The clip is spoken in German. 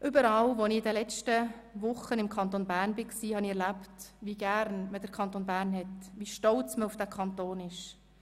Überall im Kanton Bern, wo ich in den letzten Wochen unterwegs war, habe ich erlebt, wie gern man den Kanton Bern hat, wie stolz man auf diesen Kanton ist.